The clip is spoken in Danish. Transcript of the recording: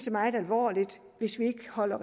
er meget alvorligt hvis vi ikke holder